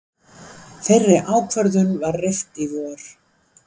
Þeirri ákvörðun var rift í vor